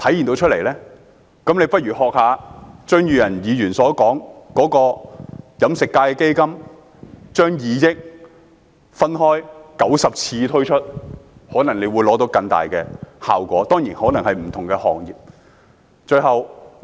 政府不如學習李嘉誠基金會，將2億元分開90次推出，支援飲食業以外的行業，可能會獲得更大的效果。